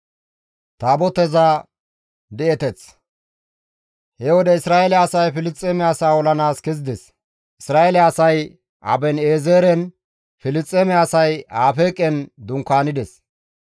He wode Isra7eele asay Filisxeeme asaa olanaas kezides; Isra7eele asay Aben7eezeren, Filisxeeme asay Afeeqen dunkaanides.